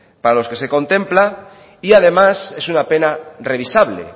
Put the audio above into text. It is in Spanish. para los que se contempla y además es una pena revisable